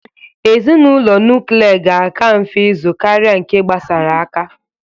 Ezinaụlọ nukle ga-aka mfe ịzụ karị nke gbasara aka.